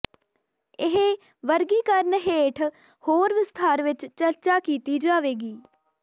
ਇਹ ਵਰਗੀਕਰਨ ਹੇਠ ਹੋਰ ਵਿਸਥਾਰ ਵਿੱਚ ਚਰਚਾ ਕੀਤੀ ਜਾਵੇਗੀ